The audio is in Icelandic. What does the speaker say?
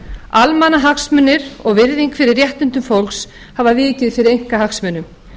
almannahagsmunir og virðing fyrir réttindum fólks hafa vikið fyrir einkahagsmunum